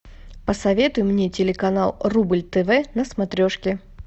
посоветуй мне телеканал рубль тв на смотрешке